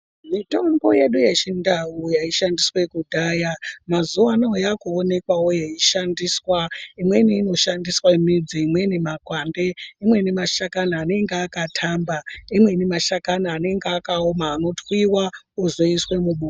Mitombo yedu yechindau yaishandiswa kudhaya mazuwano yakuonekwa yeishandiswa. Imweni inoshandiswa nemidzi, imweni makwande, imweni mashakani anenge akatamba, imweni mashakani anenge akawoma anotwiwa ozoiswe mubota.